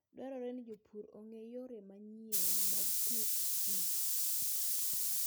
Dwarore ni jopur ong'e yore manyien mag pidhkich